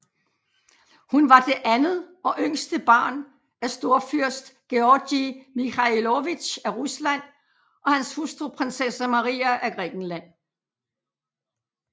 Hun var det andet og yngste barn af storfyrst Georgij Mikhailovitj af Rusland og hans hustru prinsesse Maria af Grækenland